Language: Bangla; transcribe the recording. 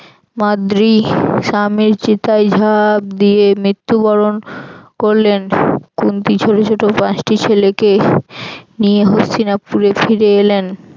মাদ্রী স্বামীর চিতায় ঝাপ দিয়ে মৃত্যুবরণ করলেন। কুন্তি ছোট ছোট পাঁচটি ছেলেকে নিয়ে হস্তিনাপুরে ফিরে এলেন